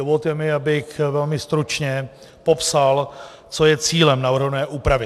Dovolte mi, abych velmi stručně popsal, co je cílem navrhované úpravy.